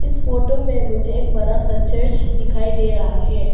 इस फोटो में मुझे एक बड़ा सा चर्च दिखाई दे रहा है।